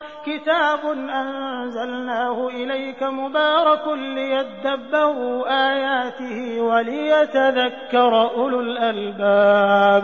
كِتَابٌ أَنزَلْنَاهُ إِلَيْكَ مُبَارَكٌ لِّيَدَّبَّرُوا آيَاتِهِ وَلِيَتَذَكَّرَ أُولُو الْأَلْبَابِ